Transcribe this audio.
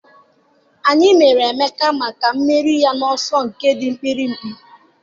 anyị mere Emeka maka mmeri ya n'ọsọ nke dị mkpirikpi